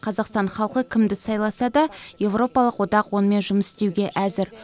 қазақстан халқы кімді сайласа да еуропалық одақ онымен жұмыс істеуге әзір